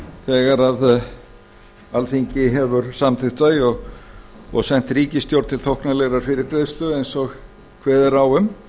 þegar að alþingi hefur samþykkt þau og sent ríkisstjórn til þóknanlegrar fyrirgreiðslu eins og kveðið er á um